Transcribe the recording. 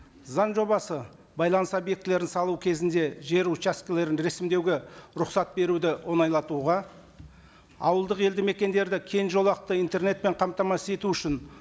заң жобасы байланыс объектілерін салу кезінде жер учаскілерін рәсімдеуге рұқсат беруді оңайлатуға ауылдық елді мекендерді кең жолақты интернетпен қамтамасыз ету үшін